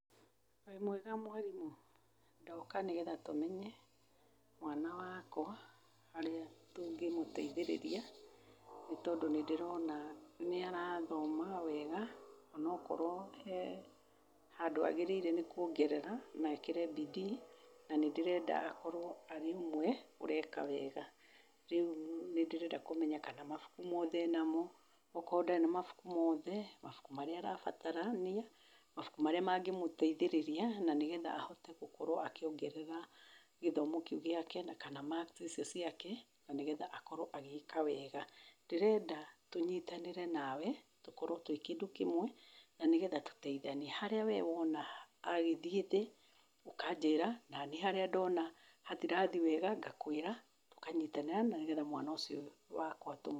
Wĩ mwega mwarimũ? ndoka nĩgetha tũmenye mwana wakwa harĩa tũngĩmũteithĩrĩria, nĩ tondũ nĩ ndĩrona nĩ arathoma wega, ona akorwo he handũ agĩrĩirwo nĩ kuongerera ekĩre bidii na nĩ ndĩrenda akorwo arĩ ũmwe ũreka wega , rĩu nĩ ndĩrenda kũmenya kana mabuku mothe enamo? okorwo ndarĩ na mabuku mothe , mabuku marĩa arabatarania, mabuku marĩa mothe mangĩmũteithĩrĩria nĩgetha ahote gũkorwo akĩongerera gĩthomo kĩu gĩake kana marks icio ciake, na nĩgetha akorwo agĩka wega, ndĩrenda tũnyitanĩre nawe tũkorwo twĩ kĩndũ kĩmwe, nĩgetha harĩa we wona agĩthiĩ thĩ ũkanjĩra, na niĩ harĩa ndona hatirathiĩ wega ngakwĩra , na nĩgetha mwana ũcio wakwa tũmũ.